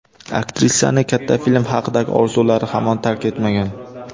Aktrisani katta film haqidagi orzulari hamon tark etmagan.